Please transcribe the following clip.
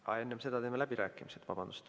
Aga enne seda teeme läbirääkimised.